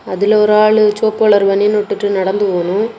அதுல ஒரு ஆளு செவப்பு கலர் பனியன் இட்டுட்டு நடந்து போணு.